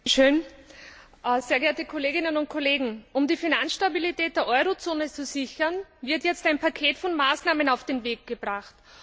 Frau Präsidentin, sehr geehrte Kolleginnen und Kollegen! Um die Finanzstabilität der Eurozone zu sichern, wird jetzt ein Paket von Maßnahmen auf den Weg gebracht.